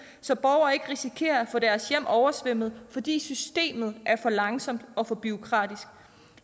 så borgere ikke risikerer at få deres hjem oversvømmet fordi systemet er for langsomt og bureaukratisk